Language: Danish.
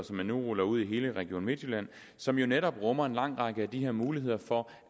som man nu ruller ud i hele region midtjylland og som jo netop rummer en lang række af de her muligheder for